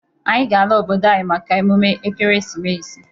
Anyi ga-ala obodo anyị maka emume Ekeresimesi.